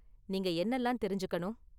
நீங்க என்னலாம் தெரிஞ்சுக்கணும்?